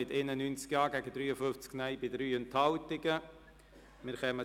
Sie haben den Punkt 2 mit 91 Ja- gegen 53 Nein-Stimmen bei 3 Enthaltungen abgeschrieben.